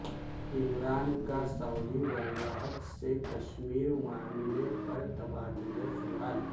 عمران کا سعودی ولیعہد سے کشمیر معاملے پر تبادلہ خیال